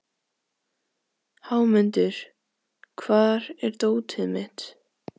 Hámundur, hvar er dótið mitt?